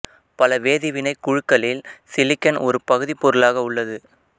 பல வேதி வினைக்குழுக்களில் சிலிக்கன் ஒரு பகுதிப் பொருளாக உள்ளது